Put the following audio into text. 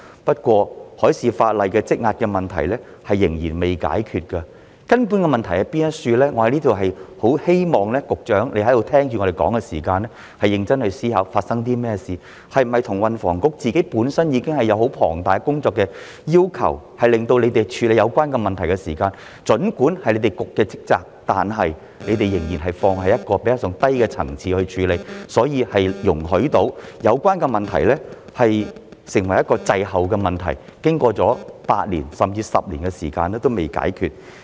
不過，海事法例方面積壓的問題仍未解決——我很希望局長在此聆聽議員意見時，要認真思考究竟發生了甚麼事——根本性的問題會否是運輸及房屋局本身已有十分龐大的工作需求，以致儘管這是局方的職責，但局方在處理有關問題時仍把它放在較低的層次，所以容許有關問題滯後處理，經過了8年，甚至10年時間，至今仍未解決？